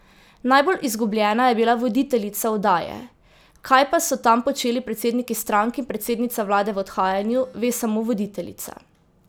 Najbolj izgubljena je bila voditeljica oddaje, kaj pa so tam počeli predsedniki strank in predsednica vlade v odhajanju, ve samo voditeljica.